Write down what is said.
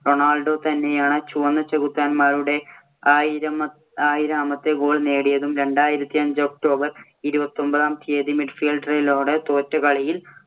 Ronaldo തന്നെയാണ് ചുവന്ന ചെകുത്താന്മാരുടെ ആയിരം ആയിരാമത്തെ goal നേടിയതും, രണ്ടായിരത്തി അഞ്ച് october ഇരുപത്തിയൊമ്പതാം തീയതി തോറ്റ കളിയിൽ